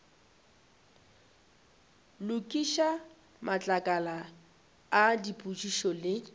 lokiša matlakala a dipotšišo le